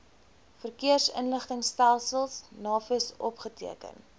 verkeersinligtingstelsel navis opgeteken